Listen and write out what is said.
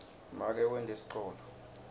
make wente sicholo